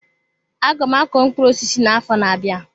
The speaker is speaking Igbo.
Aga m akọ mkpụrụ osisi na-afo n'abia.